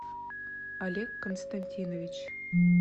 олег константинович